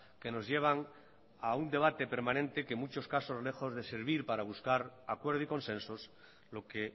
que nos llevan a un debate permanente que en muchos casos lejos de servir para buscar acuerdo y consensos lo que